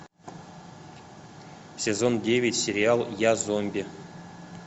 сезон девять сериал я зомби